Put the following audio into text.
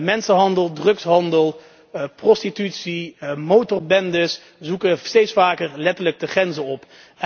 Mensenhandel, drugshandel, prostitutie, motorbendes zoeken steeds vaker letterlijk de grenzen op.